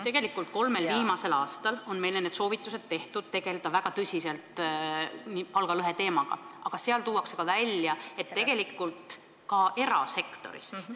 Tegelikult on kolmel viimasel aastal meile antud soovitusi väga tõsiselt palgalõheteemaga tegeleda, aga tuuakse välja, et seda tuleks teha ka erasektoris.